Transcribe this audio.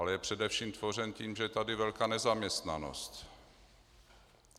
Ale je především tvořen tím, že je tady velká nezaměstnanost.